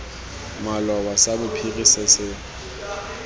maloba sa bophiri se se